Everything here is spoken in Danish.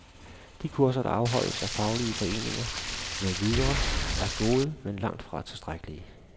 De kurser, der afholdes af faglige foreninger med videre, er gode, men langtfra tilstrækkelige.